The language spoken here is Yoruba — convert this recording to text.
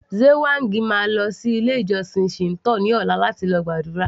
Lze whang máa lọ sí ilé ìjósìn Shinto ní ọ̀la láti lọ gbàdúrà